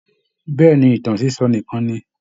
Bẹ́ẹ̀ ni, ìtàn sísọ nìkan ni